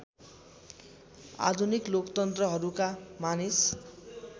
आधुनिक लोकतन्त्रहरूका मानिस